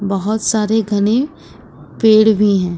बहोत सारे घने पेड़ भी है।